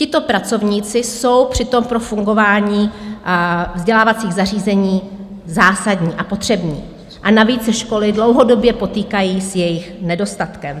Tito pracovníci jsou přitom pro fungování vzdělávacích zařízení zásadní a potřební, a navíc se školy dlouhodobě potýkají s jejich nedostatkem.